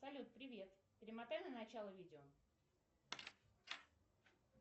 салют привет перемотай на начало видео